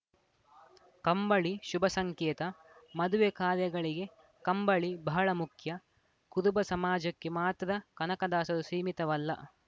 ಕಂಬಳಿ ಶುಭ ಸಂಕೇತ ಮದುವೆ ಕಾರ್ಯಗಳಿಗೆ ಕಂಬಳಿ ಬಹಳ ಮುಖ್ಯ ಕುದುಬ ಸಮಾಜಕ್ಕೆ ಮಾತ್ರ ಕನಕದಾಸರು ಸೀಮಿತವಲ್ಲ